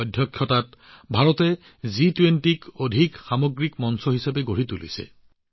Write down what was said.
অধ্যক্ষতাৰ সময়ছোৱাত ভাৰতে জি২০ক অধিক সৰ্বাংগীন মঞ্চ হিচাপে গঢ়ি তুলিছে